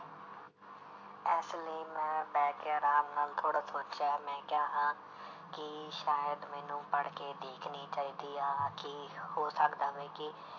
ਇਸ ਲਈ ਮੈਂ ਬਹਿ ਕੇ ਆਰਾਮ ਨਾਲ ਥੋੜ੍ਹਾ ਸੋਚਿਆ ਮੈਂ ਕਿਹਾ ਹਾਂ ਕਿ ਸ਼ਾਇਦ ਮੈਨੂੰ ਪੜ੍ਹਕੇ ਦੇਖਣੀ ਚਾਹੀਦੀ ਆ ਕਿ ਹੋ ਸਕਦਾ ਵਾ ਕਿ